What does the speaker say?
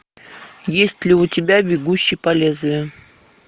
есть ли у тебя бегущий по лезвию